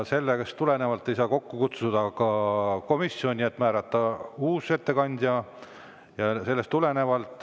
Sellest tulenevalt ei saa kokku kutsuda ka komisjoni koosolekut, et määrata uus ettekandja.